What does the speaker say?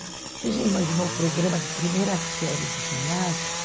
Você já imaginou o programa da primeira série do ginásio?